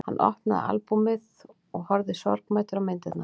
Hann opnaði albúmið og horfði sorgmæddur á myndirnar.